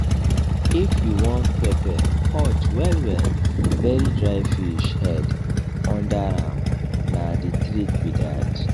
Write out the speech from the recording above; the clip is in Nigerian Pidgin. if you wan pepper hot wellwell bury dry fish head under am na the trick be that